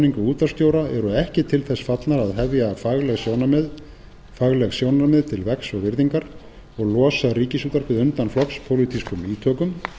ráðningu útvarpsstjóra eru ekki til þess fallnar að hefja fagleg sjónarmið til vegs og virðingar og losa ríkisútvarpið undan flokkspólitískum ítökum